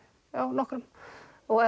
nokkrum